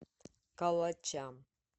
калача